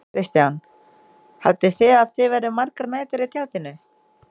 Kristján: Haldið þið að þið verðið margar nætur í tjaldinu?